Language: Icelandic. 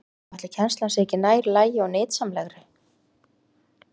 Já, ætli kennslan sé ekki nær lagi og nytsamlegri?